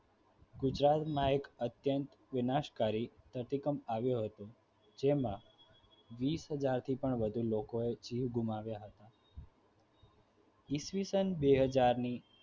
ગુજરાતમાં એક અત્યંત વિનાશકારી ધરતીકંપ આવ્યો હતો જેમાં વિષહજાર થી વધુ લોકોએ જીવ ગુમાવ્યા હતા ઇસવીસન બેહજાર ની